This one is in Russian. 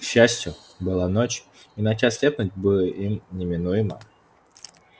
к счастью была ночь иначе ослепнуть бы им неминуемо